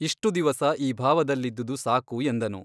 ಇಷ್ಟು ದಿವಸ ಈ ಭಾವದಲ್ಲಿದ್ದುದು ಸಾಕು ಎಂದನು.